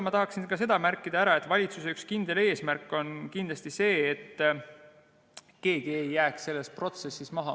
Ma tahaksin märkida ka seda, et valitsuse üks kindel eesmärk on see, et keegi ei jääks selles protsessis maha.